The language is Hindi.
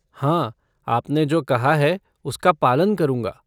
हाँ, आपने जो कहा है, उसका पालन करूंगा।